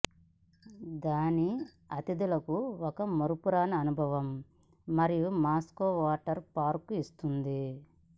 దాని అతిథులకు ఒక మరపురాని అనుభవం మరియు మాస్కో వాటర్ పార్కు ఇస్తుంది